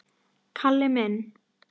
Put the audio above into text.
Kalli minn?